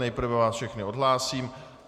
Nejprve vás všechny odhlásím.